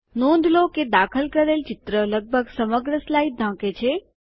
નોંધ લો કે દાખલ કરેલ ચિત્ર લગભગ સમગ્ર સ્લાઇડ ઢાંકે છે